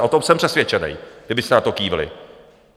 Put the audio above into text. A o tom jsem přesvědčený, kdybyste na to kývli.